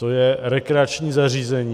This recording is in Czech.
To je rekreační zařízení.